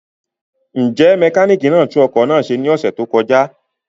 Njẹ mekaniki na tun ọkọ naa ṣe ni ọsẹ to kọja?